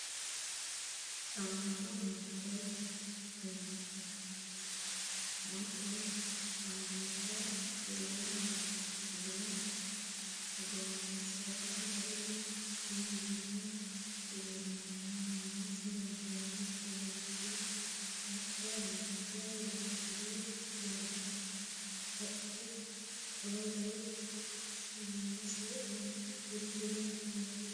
Sidaancho beettooti cumate anga xila amaddino gonnesera wolu xilino leellanno. Mulese wedellichu beetti haqqa amade irkire gonfa qodhe qolote shamise uddire no.